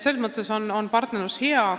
Selles mõttes on meie partnerlus heal tasemel.